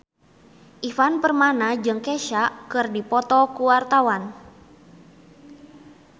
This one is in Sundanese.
Ivan Permana jeung Kesha keur dipoto ku wartawan